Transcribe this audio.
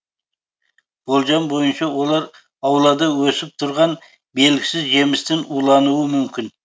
болжам бойынша олар аулада өсіп тұрған белгісіз жемістен улануы мүмкін